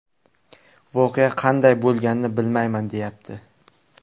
Voqea qanday bo‘lganini bilmayman, deyapti.